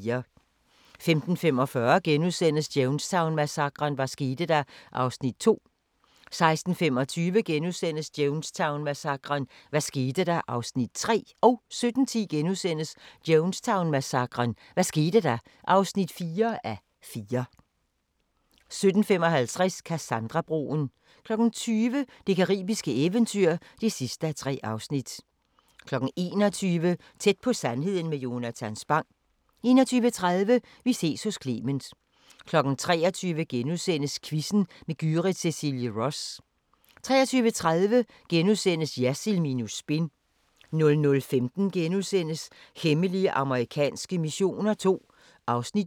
15:45: Jonestown-massakren: Hvad skete der? (2:4)* 16:25: Jonestown-massakren: Hvad skete der? (3:4)* 17:10: Jonestown-massakren: Hvad skete der? (4:4)* 17:55: Cassandra-broen 20:00: Det caribiske eventyr (3:3) 21:00: Tæt på sandheden med Jonatan Spang 21:30: Vi ses hos Clement 23:00: Quizzen med Gyrith Cecilie Ross * 23:30: Jersild minus spin * 00:15: Hemmelige amerikanske missioner II (Afs. 8)*